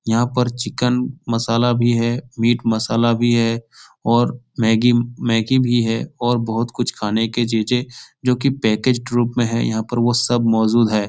यहाँ पर चिकन मसाला भी है मीट मसाला भी है और मैगी मैगी भी है और बहुत कुछ खाने की चीजें जो कि पैकेज्ड रूप में है। यहाँ पर वो सब मौजूद है ।